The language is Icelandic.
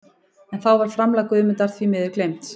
En þá var framlag Guðmundar því miður gleymt.